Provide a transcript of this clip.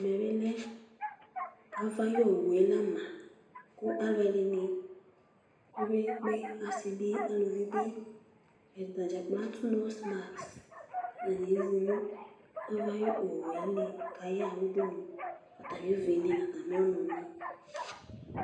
ɛmɛ bi lɛ ava ayi owu yɛ la ma kò alo ɛdini kpe kpe kpe asi bi aluvi bi atadza kplo ato noz mask atani ezi no ava ayi owu yɛ li k'aya ɣa udunu atami uvi ni n'atami ɔnò ni